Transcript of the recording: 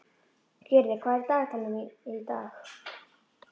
Gyrðir, hvað er í dagatalinu í dag?